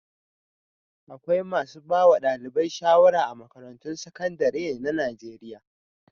Akwai masu ba wa ɗalibai shawara a makarantun sakandare na Najeriya.